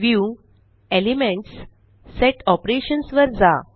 व्ह्यूग्ट एलिमेंटसगत set operations वर जा